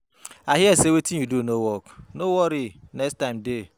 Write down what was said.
I hear say wetin you do no work no worry next time dey